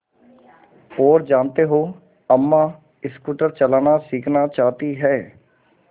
और जानते हो अम्मा स्कूटर चलाना सीखना चाहती हैं